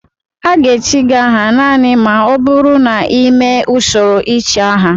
A ga-echi gị aha naanị ma ọ bụrụ na ị mee usoro ichi aha